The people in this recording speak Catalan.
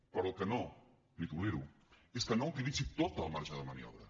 però el que no li tolero és que no utilitzi tot el marge de maniobra